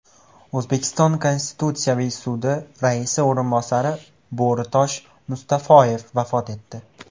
O‘zbekiston Konstitutsiyaviy sudi raisi o‘rinbosari Bo‘ritosh Mustafoyev vafot etdi .